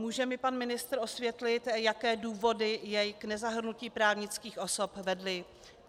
Může mi pan ministr osvětlit, jaké důvody jej k nezahrnutí právnických osob vedly?